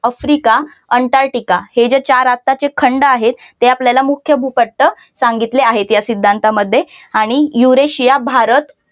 Africa Antarctica हे जे चार आत्ताचे खंड आहेत ते आपल्याला मुख्य भूपट्ट सांगितले आहेत या सिद्धांतामध्ये आणि युरेशिया भारत